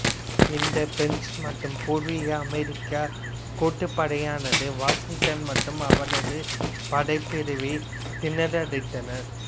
இந்த பிரெஞ்சு மற்றும் பூர்வீக அமெரிக்க கூட்டுப்படையானது வாசிங்டன் மற்றும் அவரது படைப்பிரிவை திணறடித்தனர்